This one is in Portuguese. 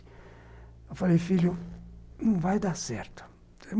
Eu falei, filho, não vai dar certo.